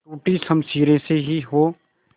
टूटी शमशीरें से ही हो